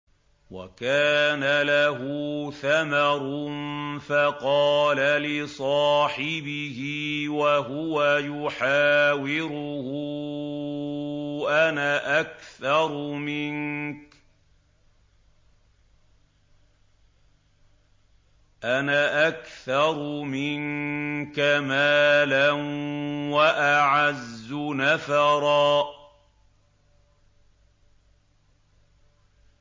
وَكَانَ لَهُ ثَمَرٌ فَقَالَ لِصَاحِبِهِ وَهُوَ يُحَاوِرُهُ أَنَا أَكْثَرُ مِنكَ مَالًا وَأَعَزُّ نَفَرًا